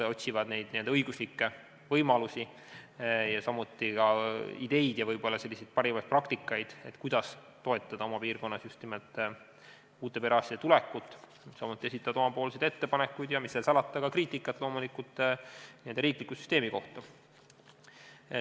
Nad otsivad õiguslikke võimalusi, ideid ja parimaid kogemusi, kuidas toetada oma piirkonda uute perearstide tulekut, ning esitavad oma ettepanekuid ja, mis seal salata, teevad ka kriitikat riikliku süsteemi kohta.